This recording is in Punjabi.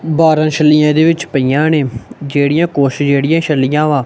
ਬਾਹਰ ਛਲੀਆਂ ਇਹਦੇ ਵਿੱਚ ਪਈਆਂ ਨੇ ਜਿਹੜੀਆਂ ਕੁਛ ਜਿਹੜੀਆਂ ਛੱਲੀਆਂ ਵਾ।